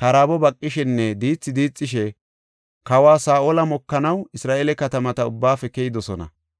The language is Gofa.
karaabo baqishenne diithi diixishe, kawa Saa7ola mokanaw Isra7eele katamata ubbaafe keyidosona.